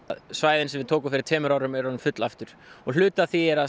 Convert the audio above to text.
svæðin sem við tókum fyrir tveimur árum eru orðin full aftur og hluti af því er að